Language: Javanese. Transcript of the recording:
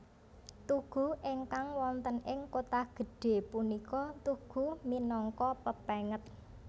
Tugu ingkang wonten ing Kotagedhe punika tugu minangka pepenget